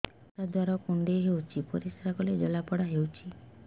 ପରିଶ୍ରା ଦ୍ୱାର କୁଣ୍ଡେଇ ହେଉଚି ପରିଶ୍ରା କଲେ ଜଳାପୋଡା ହେଉଛି